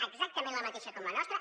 exactament la mateixa com la nostra